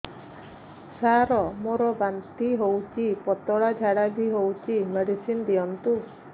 ସାର ମୋର ବାନ୍ତି ହଉଚି ପତଲା ଝାଡା ବି ହଉଚି ମେଡିସିନ ଦିଅନ୍ତୁ